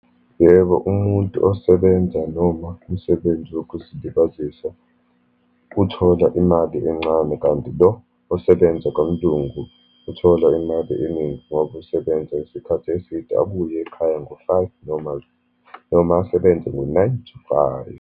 Yebo, umuntu osebenza, noma umsebenzi wokuzilibazisa uthola imali encane, kanti lo osebenza kwamLungu uthola imali eningi, ngoba usebenza isikhathi eside. Abuye ekhaya ngo-five normally, noma asebenze ngo-nine to five.